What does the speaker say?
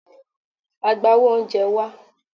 Agbawo oúnjẹ, wá!